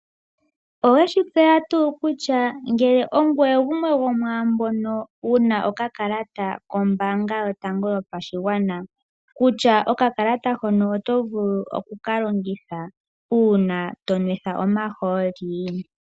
Oweshitseya tuu kutya ngele ogweye gemwe gomwaambono wuna okakalata kombaanga oyotango yopashigwana kutya okakalata hono otovulu okuka longitha uuna tonwetha omahooli.